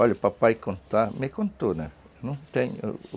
Olha, o papai conta, me contou, né? Não tem